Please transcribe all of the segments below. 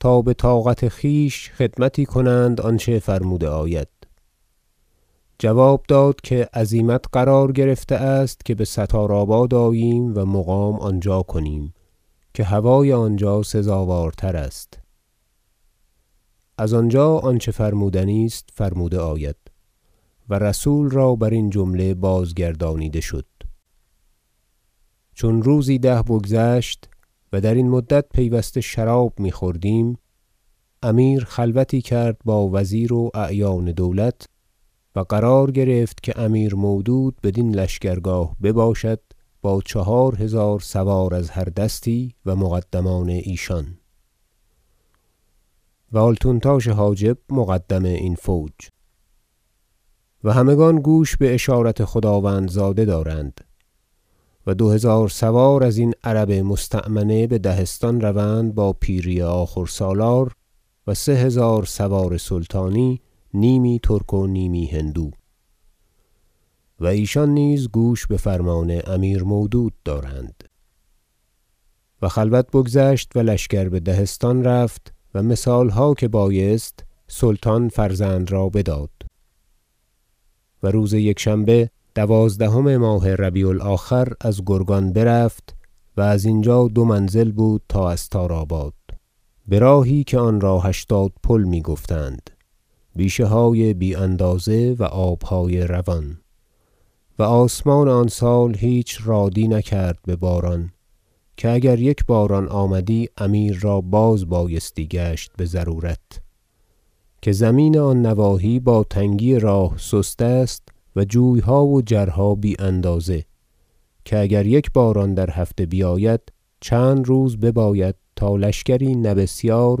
تا بطاقت خویش خدمتی کنند آنچه فرموده آید جواب داد که عزیمت قرار گرفته است که بستار آباد آییم و مقام آنجا کنیم که هوای آنجا سزاوارتر است از آنجا آنچه فرمودنی است فرموده آید و رسول را برین جمله بازگردانیده شد چون روزی ده بگذشت- و درین مدت پیوسته شراب میخوردیم- امیر خلوتی کرد با وزیر و اعیان دولت و قرار گرفت که امیر مودود بدین لشکرگاه بباشد با چهار هزار سوار از هر دستی و مقدمان ایشان و آلتونتاش حاجب مقدم این فوج و همگان گوش باشارت خداوندزاده دارند و دو هزار سوار ازین عرب مستأمنه به دهستان روند با پیری آخور سالار و سه هزار سوار سلطانی نیمی ترک و نیمی هندو و ایشان نیز گوش بفرمان امیر مودود دارند و خلوت بگذشت و لشکر به دهستان رفت و مثالها که بایست سلطان فرزند را بداد و روز یکشنبه دوازدهم ماه ربیع الآخر از گرگان برفت و از اینجا دو منزل بود تا استارآباد براهی که آنرا هشتاد پل می گفتند بیشه های بی اندازه و آبهای روان و آسمان آن سال هیچ رادی نکرد بباران که اگر یک باران آمدی امیر را بازبایستی گشت بضرورت که زمین آن نواحی با تنگی راه سست است و جویها و جرها بی اندازه که اگر یک باران در یک هفته بیاید چند روز بباید تا لشکری نه بسیار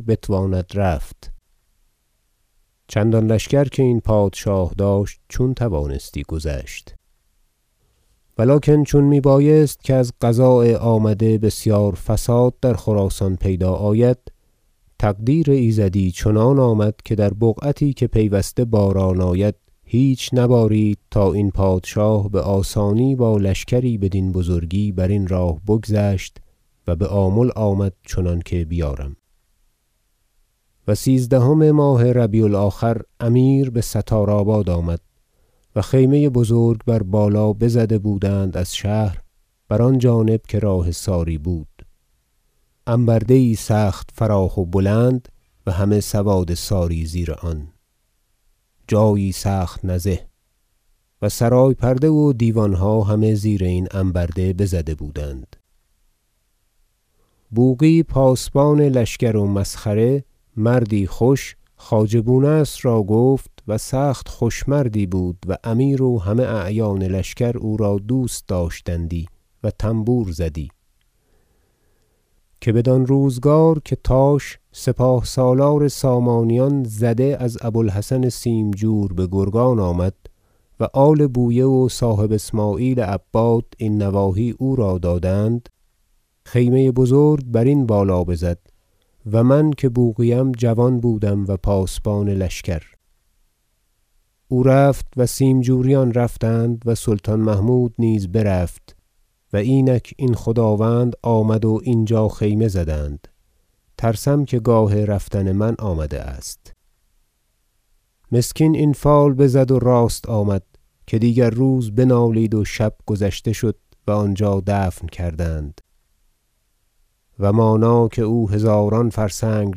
بتواند رفت چندان لشکر که این پادشاه داشت چون توانستی گذشت و لکن چون می بایست که از قضاء آمده بسیار فساد در خراسان پیدا آید تقدیر ایزدی چنان آمد که در بقعتی که پیوسته باران آید هیچ نبارید تا این پادشاه بآسانی با لشکری بدین بزرگی برین راه بگذشت و بآمل آمد چنانکه بیارم و سیزدهم ماه ربیع الآخر امیر بستارآباد آمد و خیمه بزرگ بر بالا بزده بودند از شهر بر آن جانب که راه ساری بود انبرده یی سخت فراخ و بلند و همه سواد ساری زیر آن جایی سخت نزه و سرای پرده و دیوانها همه زیر این انبرده بزده بودند بوقی پاسبان لشکر و مسخره مردی خوش خواجه بونصر را گفت- و سخت خوش مردی بود و امیر و همه اعیان لشکر او را دوست داشتندی و تنبور زدی- که بدان روزگار که تاش سپاه سالار سامانیان زده از بوالحسن سیمجور بگرگان آمد و آل بویه و صاحب اسمعیل عباد این نواحی او را دادند خیمه بزرگ برین بالا بزد و من که بوقی ام جوان بودم و پاسبان لشکر او رفت و سیمجوریان رفتند و سلطان محمود نیز برفت و اینک این خداوند آمد و اینجا خیمه زدند ترسم که گاه رفتن من آمده است مسکین این فال بزد و راست آمد که دیگر روز بنالید و شب گذشته شد و آنجا دفن کردند و مانا که او هزاران فرسنگ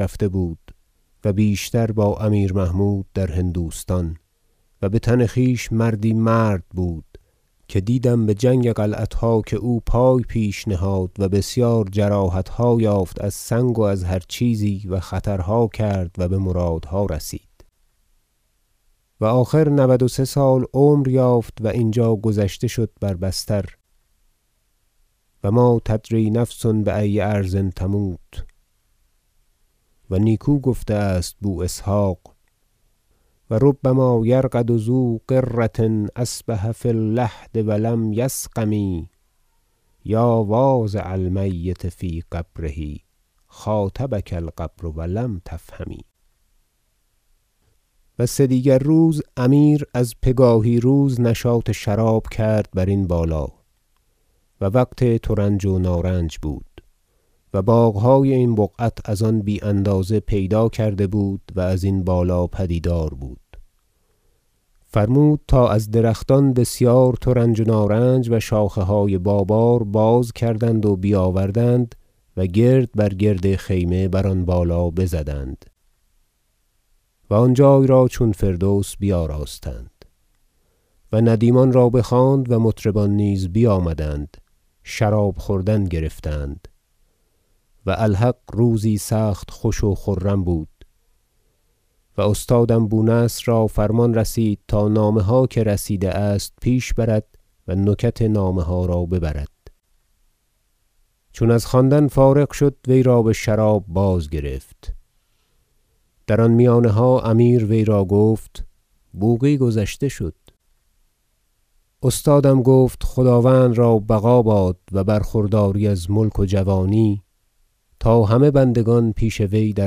رفته بود و بیشتر با امیر محمود در هندوستان و بتن خویش مردی مرد بود که دیدم بجنگ قلعتها که او پای پیش نهاد و بسیار جراحتها یافت از سنگ و از هر چیزی و خطرها کرد و بمرادها رسید و آخر نود و سه سال عمر یافت و اینجا گذشته شد بر بستر و ما تدری نفس بای ارض تموت و نیکو گفته است بواسحق شعر و ربما یرقد ذو غرة اصبح فی اللحد و لم یسقم یا واضع المیت فی قبره خاطبک القبر و لم تفهم و سدیگر روز امیر از پگاهی روز نشاط شراب کرد برین بالا و وقت ترنج و نارنج بود و باغهای این بقعت از آن بی اندازه پیدا کرده بود و ازین بالا پدیدار بود فرمود تا از درختان بسیار ترنج و نارنج و شاخهای با بار بازکردند و بیاوردند و گرد بر گرد خیمه بر آن بالا بزدند و آن جای را چون فردوس بیاراستند و ندیمان را بخواند و مطربان نیز بیامدند و شراب خوردن گرفتند و الحق روزی سخت خوش و خرم بود و استادم بونصر را فرمان رسید تا نامه ها که رسیده است پیش برد و نکت نامه ها را ببرد چون از خواندن فارغ شد وی را بشراب بازگرفت در آن میانها امیر وی را گفت بوقی گذشته شد استادم گفت خداوند را بقا باد و برخورداری از ملک و جوانی تا همه بندگان پیش وی در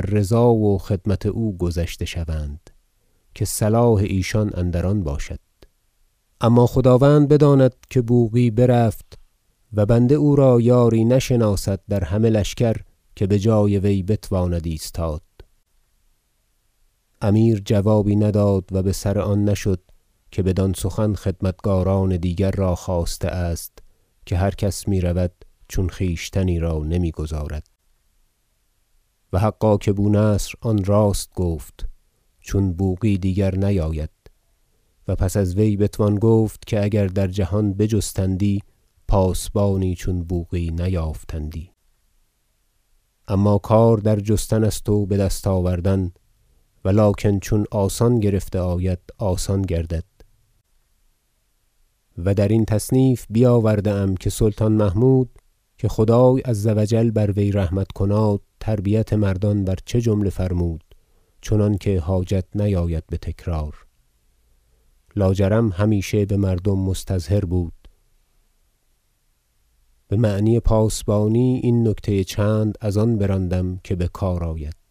رضا و خدمت او گذشته شوند که صلاح ایشان اندر آن باشد اما خداوند بداند که بوقی برفت و بنده او را یاری نشناسد در همه لشکر که بجای وی بتواند ایستاد امیر جوابی نداد و بسر آن نشد که بدان سخن خدمتکاران دیگر را خواسته است که هر کس میرود چون خویشتنی را نمیگذارد و حقا که بونصر آن راست گفت چون بوقی دیگر نیاید و پس از وی بتوان گفت که اگر در جهان بجستندی پاسبانی چون بوقی نیافتندی اما کار در جستن است و بدست آوردن ولکن چون آسان گرفته آید آسان گردد و درین تصنیف بیاورده ام که سلطان محمود که خدای عز و جل بر وی رحمت کناد تربیت مردان بر چه جمله فرمود چنانکه حاجت نیاید بتکرار لاجرم همیشه بمردم مستظهر بود بمعنی پاسبانی این نکته چند از آن براندم که بکار آید